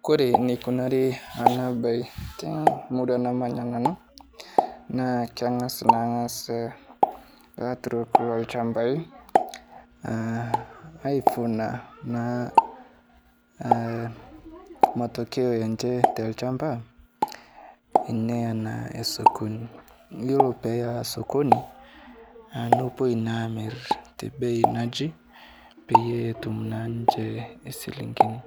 Kore neikunairi ana baye te murua namanya nanu, naa keng'as naas laturok loochambai, ahh aivuna naa matokeo enche telchamba ,neya naa aya sokoni , yuolo peeya sokoni aah nepoi naa amir tebei naji peyie etum naa ninche esilinkini.